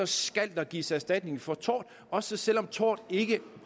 skal der gives erstatning for tort også selv om tort ikke